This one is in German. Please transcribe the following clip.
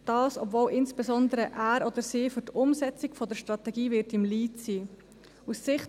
Dies, obwohl insbesondere er oder sie für die Umsetzung der Strategie im Lead sein wird.